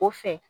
O fɛ